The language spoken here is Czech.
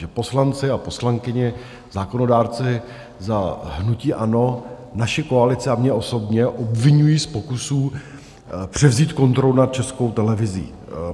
Že poslanci a poslankyně, zákonodárci za hnutí ANO, naši koalici a mě osobně obviňují z pokusů převzít kontrolu nad Českou televizí.